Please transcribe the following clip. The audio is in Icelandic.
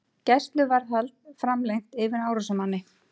Gæsluvarðhald framlengt yfir árásarmanni